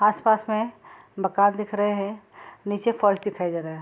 आस-पास में मकान दिख रहे हैं नीचे फर्श दिखाई दे रहा है।